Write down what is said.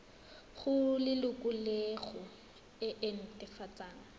go lelokolegolo e e netefatsang